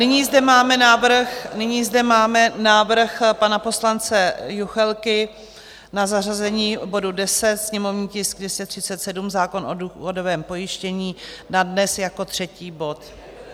Nyní zde máme návrh pana poslance Juchelky na zařazení bodu 10, sněmovní tisk 237, zákon o důchodovém pojištění, na dnes jako třetí bod.